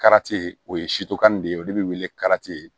o ye de ye olu bi wele